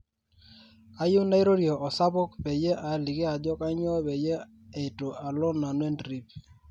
kayieu nairorie osapuk peyie aaliki ajo kainyoo peyie eitu alo nanu e trip